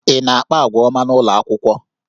Ị na-akpa àgwà ọma n'ụlọ akwụkwọ?